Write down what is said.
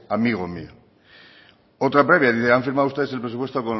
amigo mío otra previa dice han firmado ustedes el presupuesto o